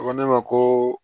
A ko ne ma ko